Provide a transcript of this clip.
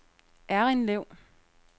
Errindlev